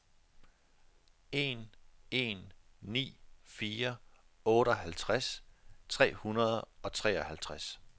en en ni fire otteoghalvtreds tre hundrede og treoghalvtreds